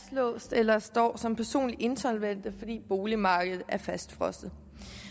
eller står som personligt insolvente fordi boligmarkedet er fastfrosset